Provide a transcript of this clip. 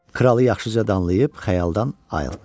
Kralı yaxşıca danlayıb xəyaldan ayıltdı.